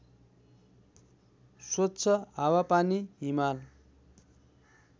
स्वच्छ हावापानी हिमाल